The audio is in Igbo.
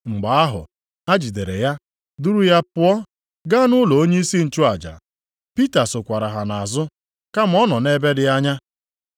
Mgbe ahụ ha jidere ya duru ya pụọ, gaa nʼụlọ onyeisi nchụaja. Pita sokwara ha nʼazụ kama ọ nọ nʼebe dị anya.